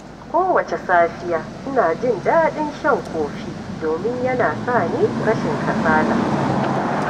Kowace safiya, ina jin daɗin shan kofi domin yana sa ni rashin kasala.